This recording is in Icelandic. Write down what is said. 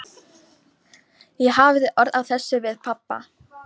Ég hafði orð á þessu við pabba.